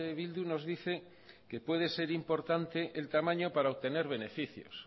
bildu nos dice que puede ser importante el tamaño para obtener beneficios